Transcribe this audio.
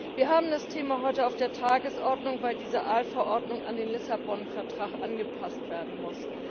Wir haben dieses Thema heute auf der Tagesordnung, weil die Aalverordnung an den Vertrag von Lissabon angepasst werden muss.